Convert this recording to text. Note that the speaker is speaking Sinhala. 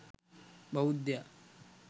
බෞද්ධයා